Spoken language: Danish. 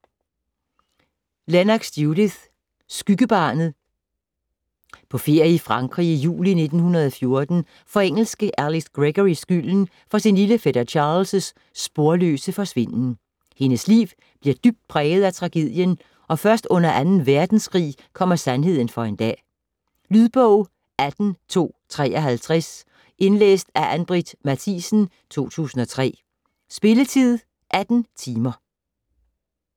Lennox, Judith: Skyggebarnet På ferie i Frankrig juli 1914 får engelske Alix Gregory skylden for sin lille fætter Charlies sporløse forsvinden. Hendes liv bliver dybt præget af tragedien, og først under 2. verdenskrig kommer sandheden for en dag. Lydbog 18253 Indlæst af Ann-Britt Mathisen, 2003. Spilletid: 18 timer, 0 minutter.